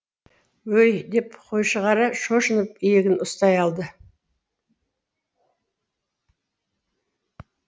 өй деп қойшығара шошынып иегін ұстай алды